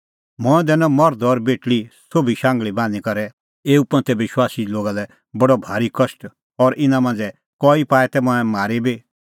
मंऐं दैनअ मर्ध और बेटल़ी सोभी शांघल़ी बान्हींबान्हीं करै एऊ पंथे विश्वासी लोगा लै बडअ भारी कष्ट और इना मांझ़ै कई पाऐ तै मंऐं मारी बी